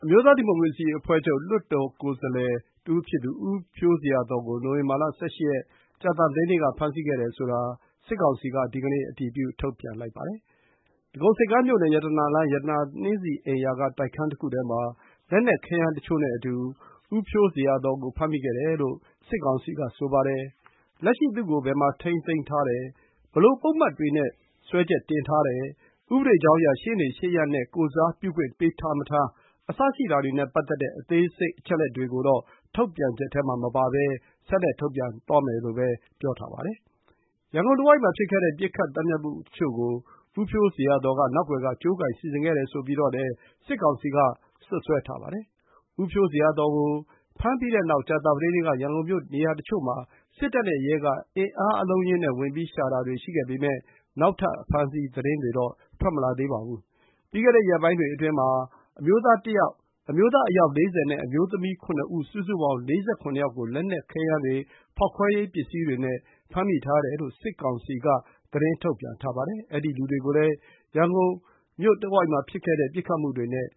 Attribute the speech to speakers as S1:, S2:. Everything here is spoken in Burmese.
S1: မျိုးသားဒီမိုကရေစီအဖွဲ့ချုပ် (NLD) လွှတ်တော်ကိုယ်စားလှယ်တဦးဖြစ်သူ ဦးဖြိုးဇေယျာသော်ကို နိုဝင်ဘာလ ၁၈ ရက်၊ ကြာသပတေးနေ့က ဖမ်းဆီးခဲ့တယ်ဆိုတာ စစ်ကောင်စီက ဒီကနေ့ အတည်ပြု ထုတ်ပြန်ပါတယ်။ ဒဂုံဆိပ်ကမ်းမြို့နယ်၊ ရတနာလမ်း၊ ရတနာနှင်းဆီအိမ်ရာက တိုက်ခန်းတခုထဲမှာ လက်နက်ခဲယမ်းတချို့နဲ့ အတူ ဦးဖြိုးဇေယျာသော်ကို ဖမ်းမိခဲ့တယ်လို့ စစ်ကောင်စီကဆိုပါတယ်။ လက်ရှိ သူ့ကို ဘယ်မှာ ထိန်းသိမ်း ထားတယ်၊ ဘယ်လိုပုဒ်မတွေနဲ့ စွဲချက်တင်ထားတယ်၊ ဥပဒေကြောင်းအရ ရှေ့နေရှေ့ရပ်နဲ့ ကိုယ်စားပြုခွင့် ပေးထားမထား စတာတွေနဲ့ပတ်သက်တဲ့ အသေးစိတ်တွေတော့ ထုတ်ပြန်ချက်ထဲမှာမပါဘဲ ဆက်လက် ထုတ်ပြန်သွားမယ်လို့ပဲ ပါရှိပါတယ်။ ရန်ကုန်တဝိုက်မှာဖြစ်ခဲ့တဲ့ ပစ်ခတ် သတ်ဖြတ်မှုတချို့ကို ဦးဖြိုးဇေယျာသော်က နောက်ကွယ်က ကြိုးကိုင် စီစဉ်ခဲ့တယ်ဆိုပြီး စစ်ကောင်စီက စွပ်စွဲထားပါတယ်။ ဦးဖြိုးဇေယျာသော်ကို ဖမ်းပြီးတဲ့နောက် ကြာသပတေးနေ့က ရန်ကုန်မြို့ နေရာတချို့မှာ စစ်တပ်နဲ့ရဲက အင်အားအလုံးအရင်းနဲ့ ဝင်ပြီးရှာတာတွေရှိခဲ့ပေမယ့် နောက်ထပ် အဖမ်းအဆီးသတင်းတွေတော့ ထွက်မလာသေးပါဘူး။ ပြီးခဲ့တဲ့ရက်ပိုင်းတွေအတွင်းကတော့ အမျိုးသား အယောက် ၄၀ နဲ့ အမျိုးသမီး ၇ ဦး၊ စုစုပေါင်း ၄၇ ယောက်ကို လက်နက် ခဲယမ်းတွေ၊ ဖောက်ခွဲရေးပစ္စည်းတွေနဲ့ ဖမ်းမိထားတယ်လို့ စစ်ကောင်စီက သတင်း ထုတ်ပြန်ထားပါတယ်။ အဲဒီလူတွေကိုလည်း ရန်ကုန်မြို့တဝိုက်မှာဖြစ်ခဲ့တဲ့ ပစ်ခတ်မှုတွေနဲ့